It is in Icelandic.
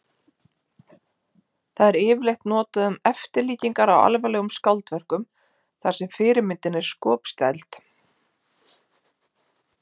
Það er yfirleitt notað um eftirlíkingar á alvarlegum skáldverkum þar sem fyrirmyndin er skopstæld.